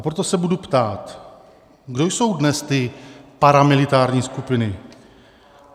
A proto se budu ptát: Kdo jsou dnes ty paramilitární skupiny?